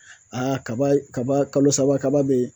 kaba kaba kalo saba kaba be yen